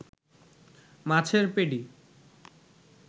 মাছের পেডি